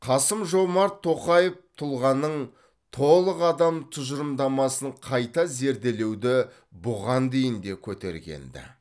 қасым жомарт тоқаев тұлғаның толық адам тұжырымдамасын қайта зерделеуді бұған дейін де көтерген ді